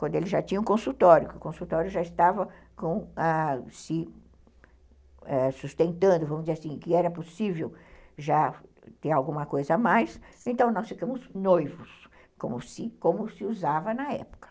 Quando ele já tinha um consultório, que o consultório já estava com a, se sustentando, vamos dizer assim, que era possível já ter alguma coisa a mais, então nós ficamos noivos, como como se usava na época.